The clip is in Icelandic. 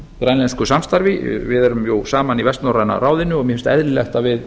grænlensku samstarfi við erum jú saman í vestnorræna ráðinu og mér finnst eðlilegt að við